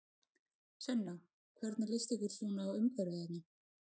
Sunna: Hvernig lýst ykkur svona á umhverfið hérna?